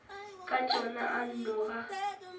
ka tšona a nno ga